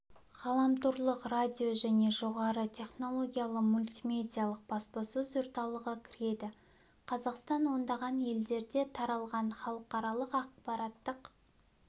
ғаламторлық радио және жоғары технологиялы мультимедиялық баспасөз орталығы кіреді қазақстан ондаған елдерде таралған халықаралық ақпараттық